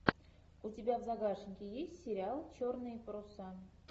у тебя в загашнике есть сериал черные паруса